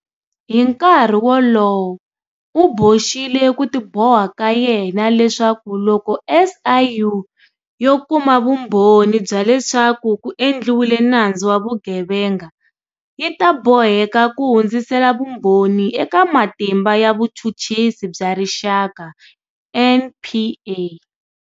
Hi nkarhi wolowo, u boxile ku tiboha ka yena leswaku loko SIU yo kuma vumbhoni bya leswaku ku endliwile nandzu wa vugevenga, yi ta boheka ku hundzisela vumbhoni eka Matimba ya Vuchuchisi bya Rixaka, NPA.